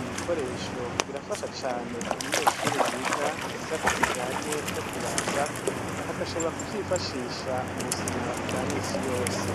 ibikoresho birafasha cane umunyeshuri yiga igisata kijanye no kubaza agashobora ku vyifashisha mu buzima bwa minsi yose.